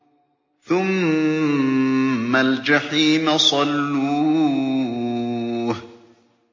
ثُمَّ الْجَحِيمَ صَلُّوهُ